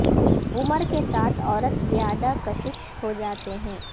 عمر کے ساتھ عورت زیادہ کشش ہو جاتی ہے